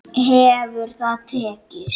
Hefur það tekist?